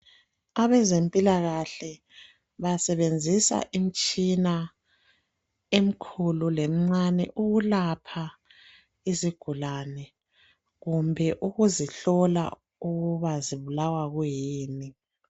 Abezempilakahle basebenzisa imtshina emkhulu, lemncane ukulapha izigulane kumbe ukuzihlola ukuba zibulawa kuyini.